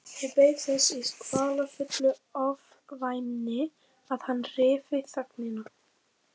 Ég beið þess í kvalafullu ofvæni að hann ryfi þögnina.